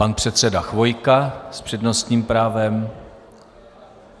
Pan předseda Chvojka s přednostním právem.